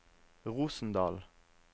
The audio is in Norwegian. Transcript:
Rosendal